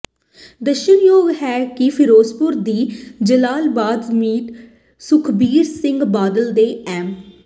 ਦੱਸਣਯੋਗ ਹੈ ਕਿ ਫਿਰੋਜਪੁਰ ਦੀ ਜਲਾਲਾਬਾਦ ਸੀਟ ਸੁਖਬੀਰ ਸਿੰਘ ਬਾਦਲ ਦੇ ਐੱਮ